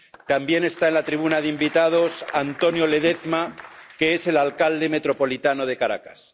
También está en la tribuna de invitados Antonio Ledezma, que es el alcalde metropolitano de Caracas.